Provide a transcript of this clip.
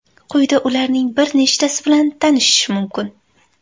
Quyida ularning bir nechtasi bilan tanishish mumkin.